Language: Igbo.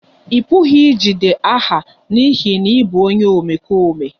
Ị pụghị ijide aha n'ihi na ị bụ onye omekome